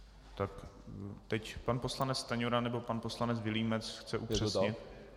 Tak teď pan poslanec Stanjura nebo pan poslanec Vilímec chce upřesnit.